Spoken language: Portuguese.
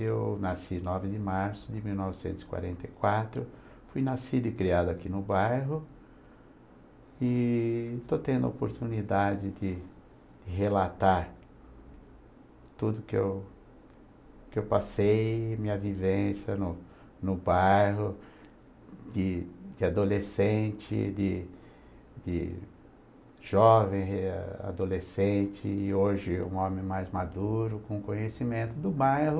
Eu nasci nove de março de mil novecentos e quarenta e quatro, fui nascido e criado aqui no bairro e estou tendo a oportunidade de relatar tudo que eu que eu passei, minha vivência no no bairro, de de adolescente, de de jovem, eh, adolescente e hoje um homem mais maduro, com conhecimento do bairro